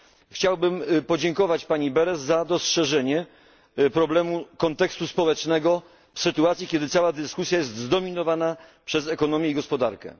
Chciałbym podziękować pani Berès za dostrzeżenie problemu kontekstu społecznego w sytuacji, kiedy cała dyskusja jest zdominowana przez ekonomię i gospodarkę.